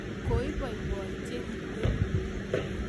Koiboiboi chekimweu